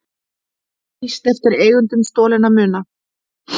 Lýst eftir eigendum stolinna muna